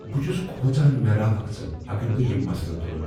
بہٕ چھس کھوژان مےٚ راوکھ ژٕ اگر بہٕ یم مسلہ تلہٕ ۔